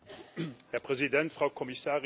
Herr Präsident, Frau Kommissarin!